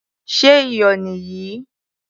Ṣé iyò nì yìí?